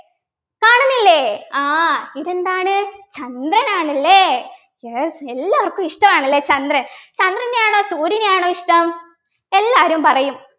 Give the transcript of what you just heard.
കാണുന്നില്ലേ ആഹ് ഇതെന്താണ് ചന്ദ്രനാണ് അല്ലേ yes എല്ലാവർക്കും ഇഷ്ടമാണ് ല്ലേ ചന്ദ്രൻ ചന്ദ്രനെയാണോ സൂര്യനെയാണോ ഇഷ്ടം എല്ലാവരും പറയും